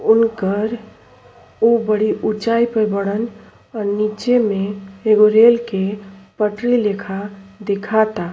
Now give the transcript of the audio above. उनकर ऊ बड़ी ऊंचाई पे बाड़न और नीचे में एगो रेल के पटरी लेखा दिखाता।